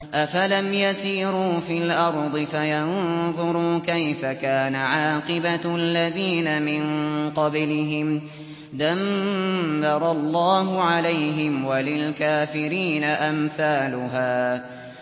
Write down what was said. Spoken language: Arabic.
۞ أَفَلَمْ يَسِيرُوا فِي الْأَرْضِ فَيَنظُرُوا كَيْفَ كَانَ عَاقِبَةُ الَّذِينَ مِن قَبْلِهِمْ ۚ دَمَّرَ اللَّهُ عَلَيْهِمْ ۖ وَلِلْكَافِرِينَ أَمْثَالُهَا